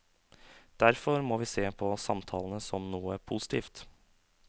Derfor må vi se på samtalene som noe positivt.